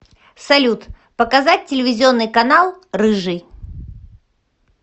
салют показать телевизионный канал рыжий